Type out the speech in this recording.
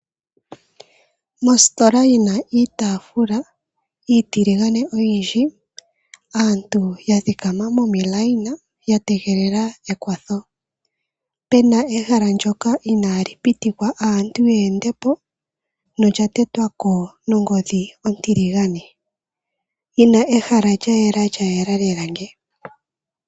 Moositola yina itafula iitiligane oyindji, aantu ya thikama momiilayina yatengelela ekwatho. Pena ehala ndyoka inali pitikwa aantu yeendepo nolya tetwako nongodhi ontiligane yina ehala lyayela lyayela lela nge.